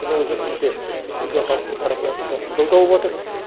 мұның өзі өте үлкен халықтың тарапынан үлкен қолдау тауыбатыр